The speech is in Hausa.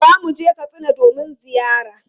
Za mu je Katsina domin ziyara.